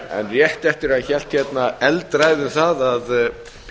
rétt eftir að hann hélt hérna eldræðu um það að